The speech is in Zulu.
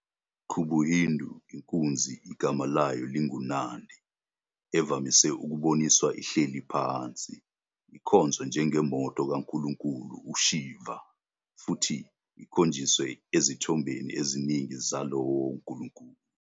KubuHindu, inkunzi egama layo linguNandi, evamise ukuboniswa ihleli phansi, ikhonzwa njengemoto kankulunkulu uShiva futhi ikhonjiswe ezithombeni eziningi zalowo nkulunkulu.